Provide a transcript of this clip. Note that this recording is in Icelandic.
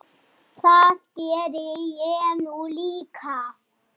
Það geri ég nú líka.